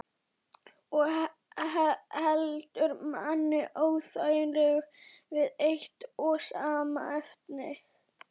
Og heldur manni óþægilega við eitt og sama efnið.